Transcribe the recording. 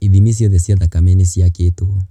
Ithimi ciothe cia thakame nĩ ciakĩtwo.